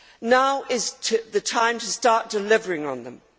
Now is the time to start delivering on them.